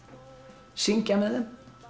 syngja með þeim